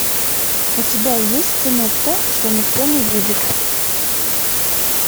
у тебя есть кино то что никто не видит